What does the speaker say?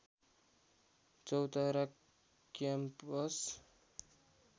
Chautara campus